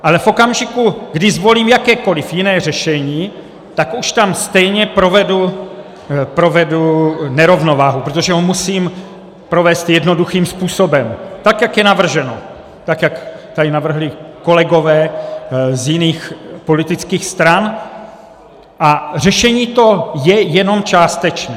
Ale v okamžiku, kdy zvolím jakékoliv jiné řešení, tak už tam stejně provedu nerovnováhu, protože ho musím provést jednoduchým způsobem tak, jak je navrženo, tak, jak tady navrhli kolegové z jiných politických stran, a řešení to je jenom částečné.